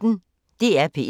DR P1